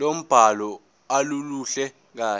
lombhalo aluluhle kahle